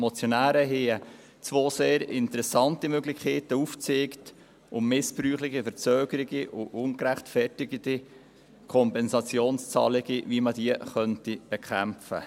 Die Motionäre zeigten zwei sehr interessante Möglichkeiten auf, um missbräuchliche Verzögerungen und ungerechtfertigte Kompensationszahlungen zu bekämpfen.